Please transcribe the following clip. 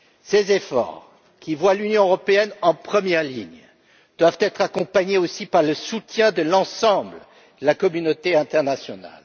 Ces efforts, qui mettent l'Union européenne en première ligne, doivent être accompagnés aussi par le soutien de l'ensemble de la communauté internationale.